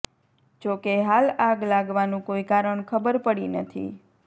જોકે હાલ આગ લાગવાનું કોઈ કારણ ખબર પડી નથી